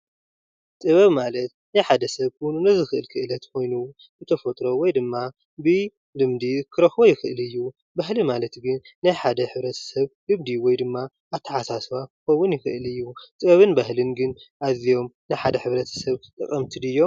ጥበብ ማለት ናይ ሓደ ሰብ ፍሉይ ክእለት ኮይኑ ብተፈጥሮ ወይ ድማ ብልምዲ ክረክቦ ይኽእል ኣዩ። ባህሊ ማለት ግን ናይ ሓደ ሕብረተ ሰብ ልምዲ ወይ ድማ ኣተሓሳስባ ክከዉን ይክእል ኣዩ። ጥበብን ባህልን ግን ኣዝዮም ንሓደ ሕብረተ ስብ ጠቐምቲ ድዮም?